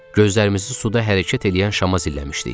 Gözlərimizi suda hərəkət eləyən şama zilləmişdik.